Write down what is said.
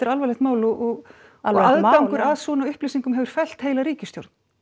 alvarlegt mál og aðgangur að svona upplýsingum hefur fellt heila ríkisstjórn